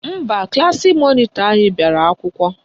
Mba, klaasị mọnịtọ anyị bịara akwụkwọ